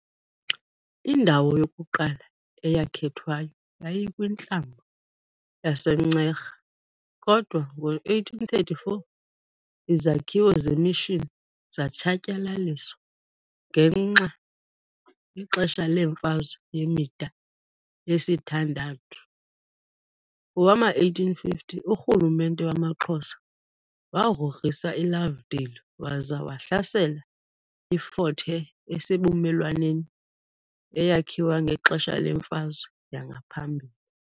Indawo yokuqala eyakhethwayo yayikwintlambo yaseNcera, kodwa ngo-1834 izakhiwo zemishini zatshatyalaliswa ngexesha leMfazwe yemida yesithandathu . Ngowama1850, urhulumente wamaXhosa wagrogrisa iLovedale waza wahlasela iFort Hare esebumelwaneni, eyakhiwa ngexesha lemfazwe yangaphambili.